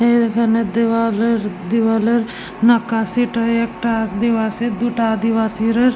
এ এখানে দেওয়াল এর দেওয়াল এর নাকাশিটায় একটা আদিবাসী দুটা আদিবাসীর --